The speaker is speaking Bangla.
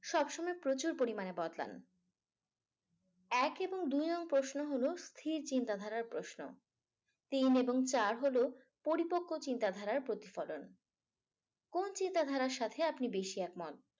সব সময় প্রচুর পরিমাণে বদলান এক এবং দুই নং প্রশ্ন হল স্থির চিন্তাধারা প্রশ্ন। তিন এবং চার হল পরিপক্ক চিন্তাধারার প্রতিফলন। কোন চিন্তাধারার সাথে আপনি বেশি এক মত।